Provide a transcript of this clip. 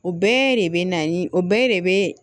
O bɛɛ de bɛ na ni o bɛɛ de bɛ